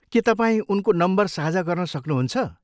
के तपाईँ उनको नम्बर साझा गर्न सक्नुहुन्छ?